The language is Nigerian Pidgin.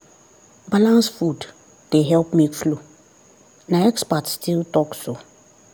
balanced food dey help milk flow na expert still talk so.